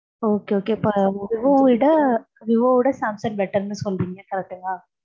okay okay விவோவோட, Samsung better ன்னு சொல்லுவீங்க, correct ஆ